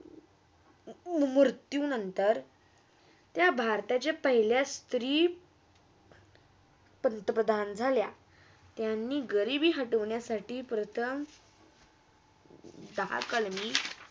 ते मृत्यू नंतर त्या भारताच्या पहिल्या सत्री पंतप्रधान झाल्या. त्यांनी गरीबी हाटोण्यासाठी प्रथम दहा कालमि